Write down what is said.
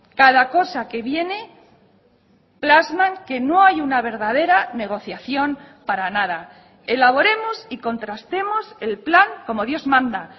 cada cosa que viene plasman que no hay una verdadera negociación para nada elaboremos y contrastemos el plan como dios manda